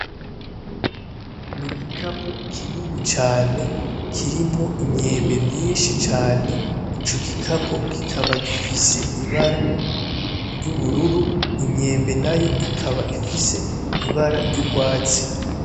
Ni igikapo kinini cane kirimwo imyembe myinshi cane, ico gikapo kikaba gifise ibara ry'ubururu, iyo myembe nayo ikaba ifise ibara ry'urwatsi.